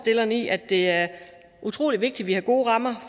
i at det er utrolig vigtigt at vi har gode rammer